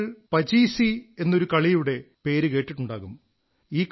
നിങ്ങൾ പചീസീ എന്നൊരു കളിയുടെ പേരു കേട്ടിട്ടുണ്ടാകും